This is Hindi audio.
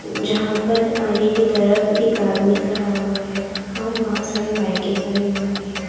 जहां पर आगे की तरफ एक आदमी खड़ा हुआ है और बहुत सारी बाइकें खड़ी हुई हैं।